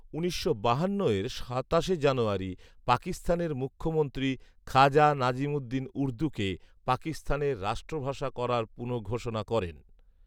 উনিশশো বাহান্ন এর সাতাশ জানুয়ারি পাকিস্তানের মুখ্যমন্ত্রী খাজা নাজিমুদ্দিন উর্দুকে পাকিস্তানের রাষ্ট্রভাষা করার পুনঃঘোষণা করেন